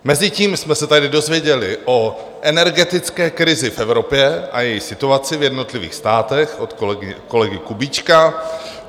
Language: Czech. Mezitím jsme se tady dozvěděli o energetické krizi v Evropě a její situaci v jednotlivých státech od kolegy Kubíčka.